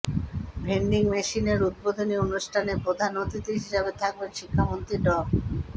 vending মেশিনের উদ্বোধনী অনুষ্ঠানে প্রধান অতিথি হিসেবে থাকবেন শিক্ষামন্ত্রী ড